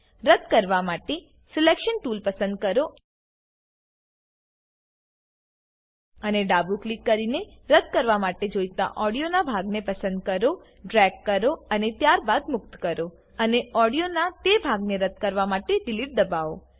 રદ્દ કરવા માટે સિલેક્શન ટૂલ પસંદ કરો અને ડાબું ક્લિક કરીને રદ્દ કરવા માટે જોઈતા ઓડીયોનાં ભાગને પસંદ કરો ડ્રેગ કરો અને ત્યારબાદ મુક્ત કરો અને ઓડીયોનાં તે ભાગને રદ્દ કરવા માટે ડિલીટ દબાવો